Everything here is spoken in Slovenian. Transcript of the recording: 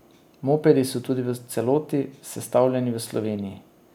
Mopedi so tudi v celoti sestavljeni v Sloveniji.